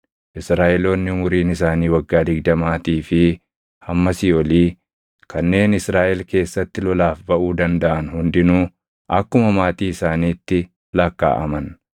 Israaʼeloonni umuriin isaanii waggaa digdamaatii fi hammasii olii kanneen Israaʼel keessatti lolaaf baʼuu dandaʼan hundinuu akkuma maatii isaaniitti lakkaaʼaman.